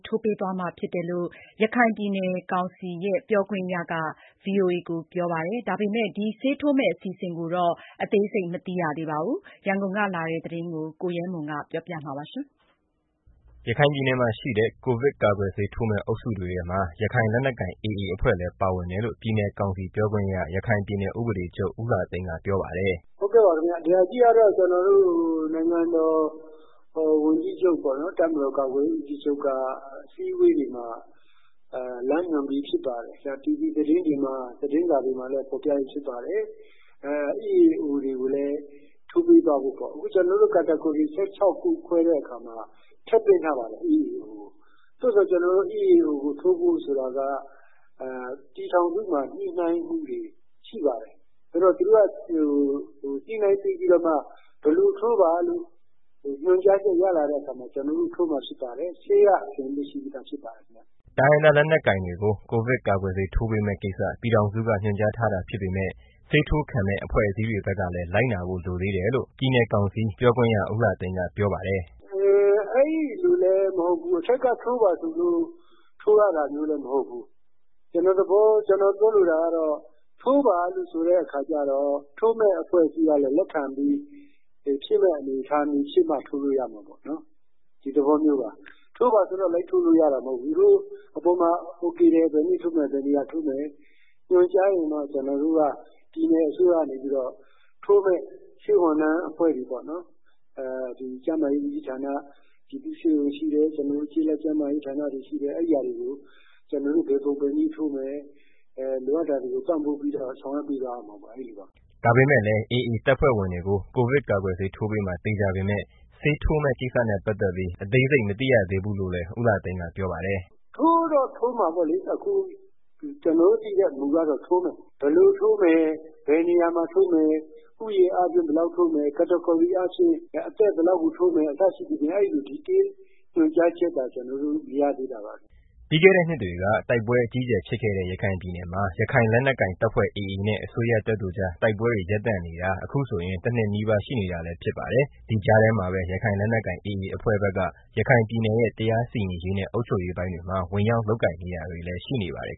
ထိုးပေးသွားမှာဖြစ်တယ်ကို ရခိုင်ပြည်နယ်ကောင်စီပြောခွင့်ရကပြောပါတယ်။ ဒါပေမယ့် ကိုဗစ်ကာကွယ် ဆေး ထိုးမယ့်ကိစ္စနဲ့ ပတ်သတ်ပြီး အသေးစိတ်မသိရသေးဘူးလို့ ကောင်စီပြောခွင့်ရက ဗွီအိုအေက ကိုပြောပါတယ်။ ရန်ကုန်က လာတဲ့ သတင်းကို ကိုရဲမွန် က တင်ပြပေးပါမယ်။ ရခိုင်ပြည်နယ်မှာရှိတဲ့ ကိုဗစ်ကာကွယ်ဆေးထိုးမယ့် အုပ်စုတွေထဲမှာ ရခိုင်လက်နက်ကိုင် AAအဖွဲ့လည်း ပါဝင်တယ်လို့ ပြည်နယ်ကောင်စီ ပြောခွင့်ရ ရခိုင်ပြည်နယ်ဥပဒေချုပ် ဦးလှသိန်းက ပြောပါတယ်။ “ ဒီဟာကတော့ နိုင်ငံတော်ဝန်ကြီးချုပ် တပ်မတော်ကာကွယ်ရေး ဦးစီးချုပ်က အစည်း အဝေးတွေမှာ လမ်းညွှန်ပြီး ဖြစ်ပါတယ်။ တီဗီသတင်းတွေ၊ သတင်းစာတွေမှာလည်း ဖော်ပြပြီး ဖြစ်ပါ တယ်။ EAOတွေကိုလည်း ထိုးပေးသွားဖို့ပေါ့။ အခုကျနော်တို့ အုပ်စု ၁၆ခုခွဲတဲ့ အခါမှာ ထည့်သွင်းထားပါတယ် EAOတွေကို။ သို့သော် ကျနော်တို့ EAOတွေကို ထိုးဖို့ဆိုတာက ပြည် ထောင်စုမှာ ညှိနိုင်းမှုတွေရှိပါတယ်။ ဆိုတော့ သူတို့က ညှိနိုင်းပေးပြီးတော့မှ ဘယ်လိုထိုးပါ ဆိုပြီး ညွှန်ကြားချက်ရလာတဲ့ အခါမှာ ကျနော်တို့ထိုးမှာ ဖြစ်ပါတယ်။ ဆေးကတော့ အဆင်သင့်ရှိ ပါတယ်။” တိုင်းရင်းသားလက်နက်ကိုင်တွေကို ကိုဗစ်ကာကွယ်ဆေးထိုးပေးမယ့် ကိစ္စ ပြည်ထောင်စုက ညွှန်ကြားထားတာဖြစ်ပေမယ့် ဆေးထိုးခံမယ့် အဖွဲ့အစည်းတွေဖက်ကလည်း လိုက်နာဖို့ လိုသေးတယ်လို့ ပြည်နယ်ကောင်စီပြောခွင့်ရ ဦးလှသိန်းကပြောပါတယ်။ “ အဲဒီလိုလည်း မဟုတ်ဘူး။ အထက်က ထိုးပါဆိုလို့ ထိုးရတာလည်းမဟုတ်ဘူး။ ကျနော် ပြောလိုတာက ထိုးပါလို့ ဆိုတဲ့ အခါကျတော့ ထိုးမယ့် အဖွဲ့အစည်းကလည်း လက်ခံပြီး ဖြစ်မယ့် အနေအထားဖြစ်မှရမယ်။ ဒီသဘောမျိုးပါ။ ထိုးပါဆိုတိုင်းလည်း လိုက်ထိုးလို့ရတာမဟုတ်။ အထက်မှာ အိုကေတယ် ဘယ်နေ့ထိုးမယ်၊ ဘယ်နေရာထိုးမယ်ဆိုရင်တော့ ကျနော်တို့က ပြည်နယ်အစိုးရကနေပြီးတော့ ထိုးမယ့် ဆေးဝန်ထမ်းအဖွဲ့တွေ ပေါ့နော်။ ကျန်းမာရေးဦးစီးဌာန ပြည်သူ့ ဆေးရုံရှိတယ်။ ကျေးလက်ကျန်းမာရေး ဌာနာတွေ ရှိတယ်။ အဲတာတွေကို ကျနော်တို့ ဘယ်ပုံဘယ်နည်းထိုးမယ်။ လိုအပ်တာတွေကို ပံံ့ပို့ပြီးတော့ ဆောင်ရွက်သွားရမှာပေါ့။” ဒါပေမယ့်လည်း AAတပ်ဖွဲ့ဝင်တွေကို ကိုဗစ်ကာကွယ်းဆေးထိုးပေးမှာ သေချာပေမယ့် ဆေးထိုးမယ့် ကိစ္စနဲ့ ပတ်သတ်ပြီး အသေးစိတ်မသိရသေးဘူးလို့လည်း ဦးလှသိန်းက ပြောပါတယ်။ “ ထိုးတော့မှာပေါ့လေ။ အခု ကျနော်တို့သိတာကတော့ ထိုးမယ်။ ဘယ်လိုထိုးမယ် ဘယ်နေ ရာမှာထိုးမယ်။ ဦးရေအားဖြင့် ဘယ်လောက်ထိုးမယ်။ အသက်ဘယ်လောက်ကို ထိုးမယ် အစရှိသဖြင့် အဲဒီလို တိတိကျကျ ညွန်ကြားချက်သာ ကျနော်တို့ မရသေးတာပါခင်မျာ။ ပြီးခဲ့တဲ့ နှစ်တွေက တိုက်ပွဲ အကြီးအကျယ်ဖြစ်ခဲ့တဲ့ ရခိုင်ပြည်နယ်မှာ ရခိုင်လက်နက်ကိုင်တပ်ဖွဲ့ AAနဲ့ အစိုးရတပ်တို့ကြား တိုက်ပွဲတွေ ရပ်တန့်နေတာ အခုဆိုရင် တစ်နှစ်နီးပါးရှိနေတာလည်း ဖြစ်ပါတယ်။ဒီကြားထဲမှာပဲ ရခိုင်လက်နက်ကိုင် AAအဖွဲ့ဖက်က ရခိုင်ပြည်နယ်ရဲ့ တရားစီရင်ရေးနဲ့ အုပ်ချုပ်ရေး ပိုင်းတွေမှာ ဝင်ရောက်လုပ်နေတာတွေလည်း ရှိနေပါတယ်